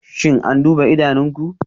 Shin an duba idanunku?